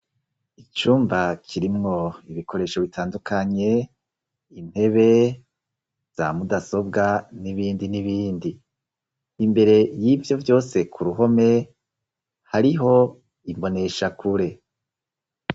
Icumba kirimwo ibikoresho bitandukanye intebe za mudasobwa n'ibindi n'ibindi imbere y'ivyo vyose ku ruhome hariho imbonesha kure.